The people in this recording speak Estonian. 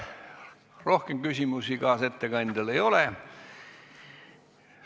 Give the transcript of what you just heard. Rohkem küsimusi kaasettekandjale ei ole.